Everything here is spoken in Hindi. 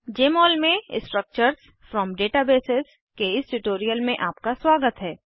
जमोल में स्ट्रक्चर्स फ्रॉम डेटाबेस के इस ट्यूटोरियल में आपका स्वागत है